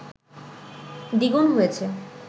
দ্বিগুন হয়েছে